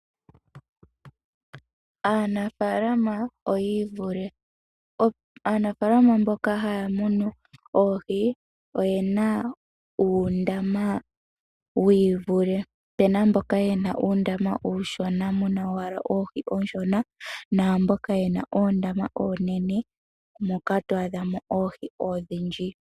Aanafaalama oyiivule, aanafaalama mboka haya munu oohi oyena uundama wiivule. Opena mboka yena uundama uushona muna oohi ooshona naamboka yena oondama oonene muna oohi ondhindji.